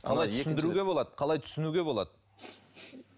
қалай түсіндіруге болады қалай түсінуге болады